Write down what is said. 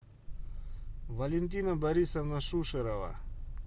валентина борисовна шушерова